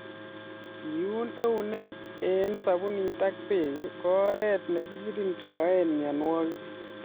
Keun eunek eng sabunit ak bek ko oret nikikirindoi mnyanwokik.